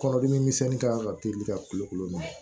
Kɔnɔdimi misɛnnin kan ka teli ka kulo minɛ